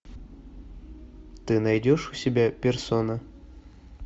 ты найдешь у себя персона